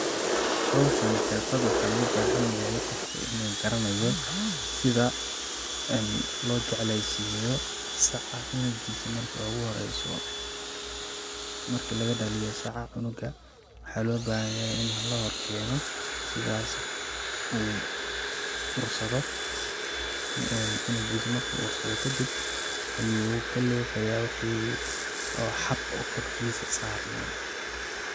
Hawshani xirfad waxaa loo baahan yahay qofka inuu garanayo sida loo jecleysiyo saca cunugiisa marki ugu horeyso ,marki laga dhaliyo saca cunuga ,waxaa loo baahan yahay ini la hor keeno ,sidaasi uu ursado, cunugiisa marki uu ursado kadib ayuu ka leefayaa wixi xab oo korkiisa saarnaa.